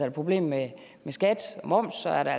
et problem med skat og moms er der